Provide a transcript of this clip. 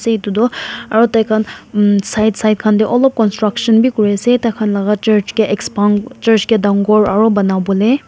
etu tuh aro thaikhan mmm side side khan dae olop construction bhi kure ase thaikhan laga church kae expand church kae dangor aro banabole--